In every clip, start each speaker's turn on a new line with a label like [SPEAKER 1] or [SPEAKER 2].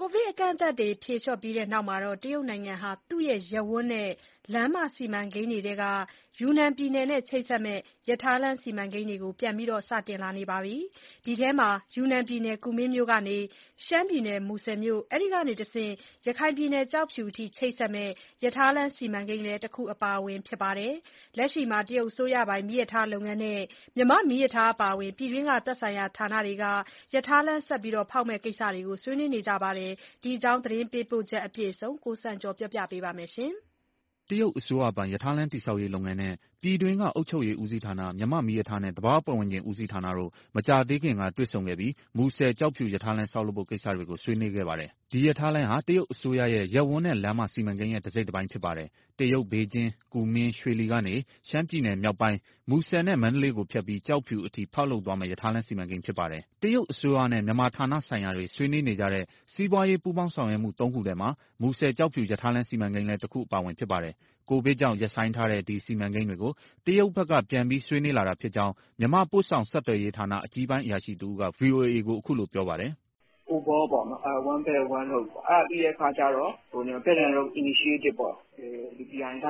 [SPEAKER 1] ကိုဗစ်အကန့်အသတ်တွေ ဖြေလျှော့ပြီးတဲ့နောက် တရုတ်နိုင်ငံဟာ သူ့ရဲ့ ရပ်ဝန်းနဲ့လမ်းမ စီမံကိန်းတွေထဲက ယူနန်ပြည်နယ်နဲ့ ချိတ်ဆက်မယ့် ရထားလမ်း စီမံကိန်းတွေကို ပြန်ပြီး စတင်လာနေပြီ ဖြစ်ပါတယ်။ ဒီထဲမှာ ယူနန်ပြည်နယ် ကူမင်းမြို့ကနေ ရှမ်းပြည်နယ် မူဆယ်မြို့၊ အဲဒီကနေ ရခိုင်ပြည်နယ် ကျောက်ဖြူအထိ ချိတ်ဆက်မယ့် ရထားလမ်း စီမံကိန်းလည်း တခုအပါအဝင် ဖြစ်ပါတယ်။ လက်ရှိမှာ တရုတ်အစိုးရပိုင် မီးရထားလုပ်ငန်းနဲ့ မြန်မာ့မီးရထားအပါအဝင် ပြည်တွင်းက သက်ဆိုင်ရာဌာနတွေက ရထားလမ်း ဆက်လက်လုပ်မယ့် ကိစ္စတွေကို ဆွေးနွေးနေကြပြီ ဖြစ်ပါတယ်။ ဒီအကြောင်း သတင်းပေးပို့ချက် အပြည့်အစုံကို ကိုစံကျော်က ပြောပြမှာပါ။
[SPEAKER 2] တရုတ်အစိုးရပိုင်ရထားလမ်း တည်ဆောက်ရေး လုပ်ငန်းနဲ့ ပြည်တွင်းက အုပ်ချုပ်ရေး ဦးစီးဌာန၊ မြန်မာ့မီးရထားနဲ့ သဘာဝပတ်ဝန်းကျင် ဦးစီးဌာနတို့ မကြာသေးခင်က တွေ့ဆုံခဲ့ပြီး မူဆယ်- ကျောက်ဖြူ ရထားလမ်း ဆောက်လုပ်ဖို့ ကိစ္စတွေကို ဆွေးနွေးခဲ့ပါတယ်။ ဒီရထားလမ်းဟာ တရုတ်အစိုးရရဲ့ ရပ်ဝန်းနဲ့လမ်းမ စီမံကိန်းရဲ့ တစိတ်တပိုင်း ဖြစ်ပါတယ်။ တရုတ် ဘေဂျင်း-ကူမင်း-ရွှေလီကနေ ရှမ်းပြည်နယ်မြောက်ပိုင်း မူဆယ်နဲ့ မန္တလေးကိုဖြတ်ပြီး ကျောက်ဖြူအထိ ဖောက်လုပ်သွားမယ့် ရထားလမ်းစီမံကိန်း ဖြစ်ပါတယ်။ တရုတ်အစိုးရနဲ့ မြန်မာဌာနဆိုင်ရာတွေ ဆွေးနွေးနေကြတဲ့ စီးပွားရေး ပူးပေါင်းဆောင်ရွက်မှု သုံးခုထဲမှာ မူဆယ်-ကျောက်ဖြူ ရထားလမ်း စီမံကိန်းလည်း တခုအပါအဝင် ဖြစ်ပါတယ်။ ကိုဗစ်ကြောင့်ရပ်ဆိုင်းထားတဲ့ ဒီစီမံကိန်းတွေကို တရုတ်ဘက်က ပြန်ပြီး ဆွေးနွေးလာတာဖြစ်ကြောင်း မြန်မာ ပို့ဆောင်ဆက်သွယ်ရေးဌာန အကြီးပိုင်းအရာရှိတဦးက ဗွီအိုအေကို အခုလိုပြောပါတယ်
[SPEAKER 3] ။ OBOR ပေါ့နော် one belt, one road အဲဒီပြီးတဲ့အခါကြတော့ Belt and Road Initiative ဒါ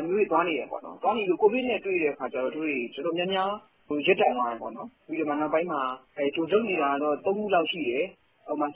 [SPEAKER 3] မျိုးတွေ သွားနေတယ်ပေါ့။ သွားနေတဲ့အချိန် ကိုဗစ်နဲ့ တွေ့တဲ့အခါကြတော့ တို့တွေ တော်တော်များများ ရပ်တန့်သွားတယ်၊ ပြီးတော့ နောက်ပိုင်းမှာ တို့လုပ်နေတာ သုံးခုလောက်ရှိတယ်။ ဥပမာ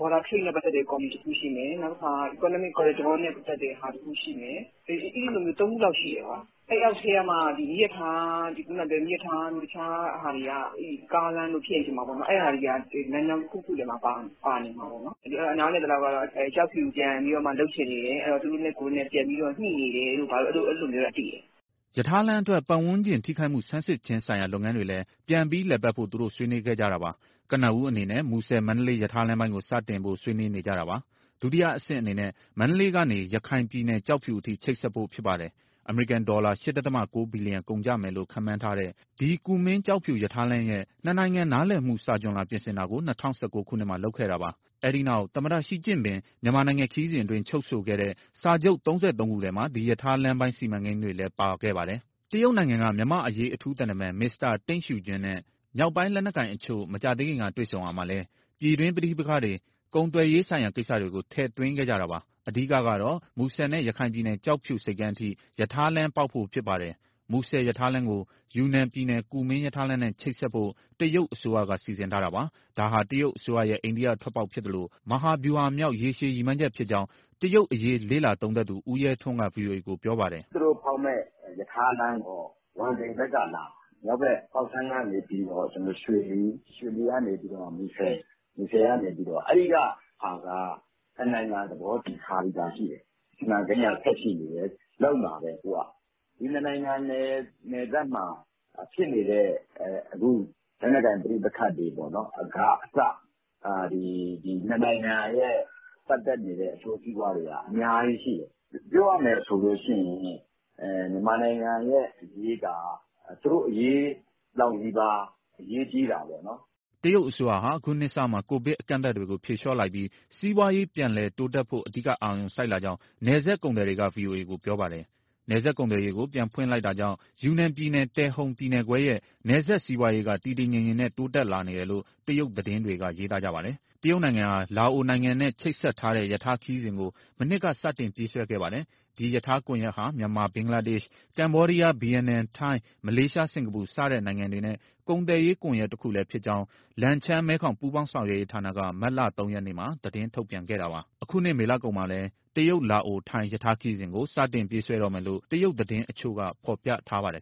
[SPEAKER 3] Border Trade နဲ့ပတ်သက်တဲ့ ကော်မတီတခုရှိတယ်။ နောက်တခု Economic Corridor နဲ့ပတ်သက်တဲ့ ကော်မတီတခုရှိတယ် အဲလို၃ခုရှိတယ်။ အဲအောက်ထဲကမှ မီးရထားတို့ တခြားဟာတွေ ကားလမ်းတို့ အဲဟာတွေက လမ်းကြောင်းတခုခုထဲမှာ ပါနေမှာပေါ့။ အဲဒီတော့ နားလည်သလောက်ကတော့ ကျောက်ဖြူပြန်ပြီးတော့မှ လုပ်ချင်နေတယ် သူတို့နဲ့ကိုယ်နဲ့ ပြန်ညှိနေတယ်တို့ အဲလိုမျိုးတော့ သိတယ်
[SPEAKER 2] ။" ရထားလမ်းအတွက် ပတ်ဝန်းကျင်ထိခိုက်မှု ဆန်စစ်ခြင်းဆိုင်ရာ လုပ်ငန်းတွေလည်း ပြန်ပြီးလည်ပတ်ဖို့ သူတို့ ဆွေးနွေးခဲ့ကြတာပါ။ ကနဦးအနေနဲ့ မူဆယ်- မန္တလေးရထားလမ်းပိုင်းကို စတင်ဖို့ ဆွေးနွေးနေကြတာပါ။ ဒုတိယအဆင့် အနေနဲ့ မန္တလေးကနေ ရခိုင်ပြည်နယ် ကျောက်ဖြူအထိ ချိတ်ဆက်ဖို့ဖြစ်ပါတယ်။ အမေရိကန်ဒေါ်လာ ၈.၉ ဘီလီယံ ကုန်ကျမယ်လို့ ခန့်မှန်းထားတဲ့ ဒီကူမင်း-ကျောက်ဖြူ ရထားလမ်းရဲ့ နှစ်နိုင်ငံနားလည်မှု စာချွန်လွှာ ပြင်ဆင်တာကို ၂၀၁၉ ခုနှစ်မှာ လုပ်ခဲ့တာပါ။ အဲဒီနောက် သမ္မတရှီကျင့်ပင် မြန်မာနိုင်ငံခရီစဉ်အတွင်း ချုပ်ဆိုခဲ့တဲ့ စာချုပ်၃၃ခုထဲမှာ ဒီရထားလမ်းပိုင်း စီမံကိန်းတွေလည်း ပါခဲ့ပါတယ်။ တရုတ်နိုင်ငံက မြန်မာ့အရေး အထူးသံတမန် မစ္စတာ တိန့်ရှီဂျွမ်းနဲ့ မြောက်ပိုင်းလက်နက်ကိုင်တချို့ မကြာသေးခင်က တွေ့ဆုံရာမှာလည်း ပြည်တွင်းပဋိက္ခတွေ၊ ကုန်သွယ်ရေးဆိုင်ရာ ကိစ္စတွေကို ထည့်သွင်းခဲ့ကြတာပါ။ အဓိကတော့ မူဆယ်နဲ့ ရခိုင်ပြည်နယ် ကျောက်ဖြူဆိပ်ကမ်းအထိ ရထားလမ်းပေါက်ဖို့ ဖြစ်ပါတယ်။ မူဆယ်ရထားလမ်းကို ယူနန်ပြည်နယ်၊ ကူမင်းရထားလမ်းနဲ့ ချိတ်ဆက်ဖို့ တရုတ်အစိုးရက စီစဉ်ထားတာပါ။ ဒါဟာ တရုတ်အစိုးရရဲ့ အိန္ဒိထွက်ပေါက်ဖြစ်သလို မဟာဗျူဟာမြောက် ရေရှည်ရည်မှန်းချက် ဖြစ်ကြောင်း တရုတ်ရေးရာ လေ့လာသုံးသပ်သူ ဦးရဲထွန်းက ဗွီအိုအေကို ပြောပါတယ်။ " သူတို့
[SPEAKER 4] ဖောက်မယ့် ရထားလမ်းက ဝမ်တိန်ဘက်ကလာမှာ။ မြောက်ဘက် ပေါက်ဆမ်းကနေပြီးတော့ ရွှေလီ၊ ရွှေလီကနေ မူဆယ်၊ မူဆယ်ကနေ ။ အဲဒီကဟာက နှစ်နိုင်ငံ သဘောတူထားပြီးသား ရှိတယ်။ စီမံကိန်က ဆက်ရှိနေတယ်၊ လုပ်မှာပဲသူက။ ဒီနှစ်နိုင်ငံနယ်စပ်မှာ ဖြစ်နေတဲ့ အခု လက်နက်ကိုင် ပဋိပက္ခတွေကအစပေါ့နော် ဒီနှစ်နိုင်ငံရဲ့ ပတ်သက်နေတဲ့ အကျိုးစီးပွားတွေက အများကြီးရှိတယ်။ ပြောရမယ်ဆိုရင် မြန်မာနိုင်ငံရဲ့အရေးက သူတို့အရေးလောက်နီးပါး အရေးကြီးတာပေါ့နော်။
[SPEAKER 2] " တရုတ်အစိုးရဟာ အခုနှစ်စမှာ ကိုဗစ်အကန့်အသတ်တွေကို ဖြေလျှော့လိုက်ပြီး စီးပွားရေး ပြန်တိုးတက်ဖို့ အဓိက အာရုံစိုက်လာကြောင်း နယ်စပ်ကုန်သည်တွေက ဗွီအိုအေကို ပြောပါတယ်။ နယ်စပ်ကုန်သွယ်ရေးကို ပြန်ဖွင့်လိုက်တာကြောင့် ယူနန်ပြည်နယ်၊ တယ်ဟုန်ပြည်နယ်ခွဲရဲ့ နယ်စပ်စီးပွားရေးက တည်တည်ငြိမ်ငြိမ်ပဲ တိုးတက်လာနေတယ်လို့ တရုတ်သတင်းတွေက ရေးသားကြပါတယ်။ တရုတ်နိုင်ငံဟာ လာအိုနိုင်ငံနဲ့ ချိတ်ဆက်ထားတဲ့ ရထားခရီးစဉ်ကို မနှစ်က စတင်ပြေးဆွဲခဲ့ပါတယ်။ ဒီရထားကွန်ရက်ဟာ မြန်မာ၊ ဘင်္ဂလားဒေ့ရှ်၊ ကမ္ဘောဒီးယား၊ ဗီယက်နမ်၊ ထိုင်း၊ မလေးရှား၊ စင်္ကာပူ စတဲ့နိုင်ငံတွေနဲ့ ကုန်သွယ်ရေး ကွန်ရက်တခုတည်းဖြစ်ကြောင်း လန်ချန်း-မဲခေါင် ပူးပေါင်းဆောင်ရွက်ရေးဌာနက မတ်လ၃ရက်မှာ သတင်း ထုတ်ပြန်ခဲ့တာပါ။ အခုနှစ်မေလကုန်မှာလည်း တရုတ်-လာအို-ထိုင်း ရထားခရီးစဉ်ကို စတင်ပြေးဆွဲတော့မယ်လို့ တရုတ်သတင်းတချို့က ဖော်ပြထားပါတယ်